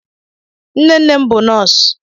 Nnenne m bụ nọọsụ